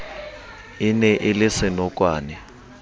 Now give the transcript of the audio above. e ne e le senokwane